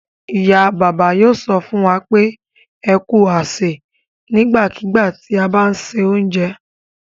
Ìyá-bàbá yóò sọ fún wa pé "ẹ kú àsè" nígbàkigbà tí a bá ń se oúnjẹ.